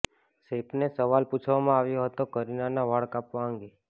સૈફને સવાલ પૂછવામાં આવ્યો હતો કરીનાના વાળ કાપવા અંગે